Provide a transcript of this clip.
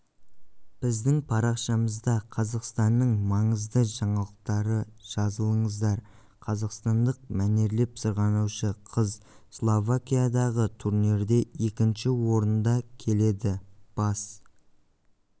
біздің парақшамызда қазақстанның маңызды жаңалықтары жазылыңыздар қазақстандық мәнерлеп сырғанаушы қыз словакиядағы турнирде екінші орында келеді бас